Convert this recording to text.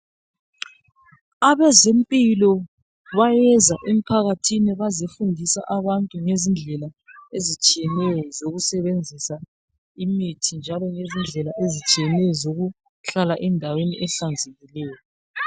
Abezempilo bayeza emphakathini, bezefundisa abantu ngendlela ezitshiyeneyo, zokusebenzisa imithi. Langendlela ezitshiyeneyo, zokugcina indawo zokuhlala, zihlanzekile.